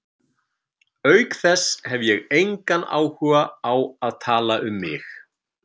Auk þess hef ég engan áhuga á því að tala um mig.